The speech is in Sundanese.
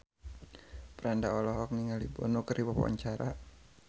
Franda olohok ningali Bono keur diwawancara